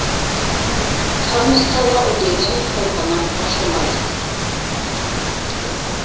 Frammistaða og líðan hópanna var svo mæld.